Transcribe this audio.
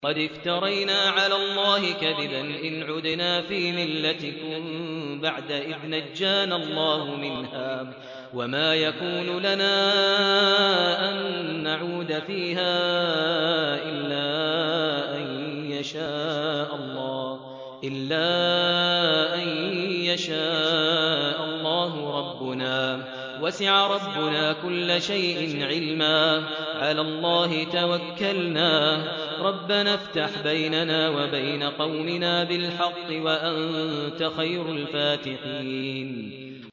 قَدِ افْتَرَيْنَا عَلَى اللَّهِ كَذِبًا إِنْ عُدْنَا فِي مِلَّتِكُم بَعْدَ إِذْ نَجَّانَا اللَّهُ مِنْهَا ۚ وَمَا يَكُونُ لَنَا أَن نَّعُودَ فِيهَا إِلَّا أَن يَشَاءَ اللَّهُ رَبُّنَا ۚ وَسِعَ رَبُّنَا كُلَّ شَيْءٍ عِلْمًا ۚ عَلَى اللَّهِ تَوَكَّلْنَا ۚ رَبَّنَا افْتَحْ بَيْنَنَا وَبَيْنَ قَوْمِنَا بِالْحَقِّ وَأَنتَ خَيْرُ الْفَاتِحِينَ